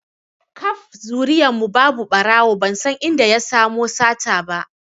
Kaf zuriyan mu ba ɓarawo ban san inda ya samo sata ba